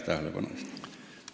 Aitäh tähelepanu eest!